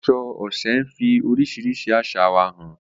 Aṣọ Oṣé ń fi oríṣiríṣi àṣà wa hàn.